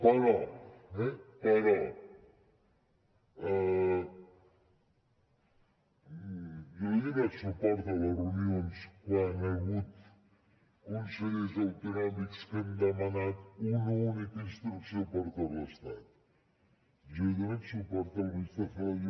però eh però jo li he donat suport a les reunions quan hi ha hagut consellers autonòmics que han demanat una única instrucció per a tot l’estat jo he donat suport a la ministra celaá